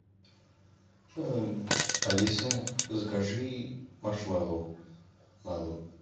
алиса закажи маршмэллоу на дом